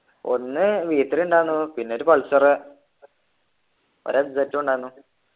ഒന്ന് v three ഉണ്ടാരുന്നു പിന്നൊരു പൾസർ ഒരു f z ഉ ഉണ്ടാരുന്നു